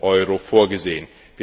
Euro vorgesehen.